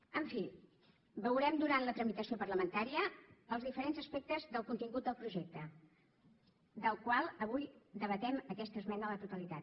en fi veurem durant la tramitació parlamentària els diferents aspectes del contingut del projecte del qual avui debatem aquesta esmena a la totalitat